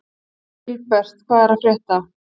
Vilbert, hvað er að frétta?